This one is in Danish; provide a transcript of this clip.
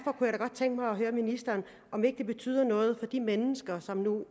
godt tænke mig at høre ministeren om ikke det betyder noget for de mennesker som